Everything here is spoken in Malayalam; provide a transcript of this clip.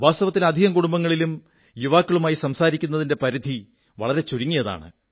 വാസ്തവത്തിൽ അധികം കുടുംബങ്ങളിലും യുവാക്കളുമായി സംസാരിക്കുന്നതിന്റെ പരിധി വളരെ ചുരുങ്ങിയതാണ്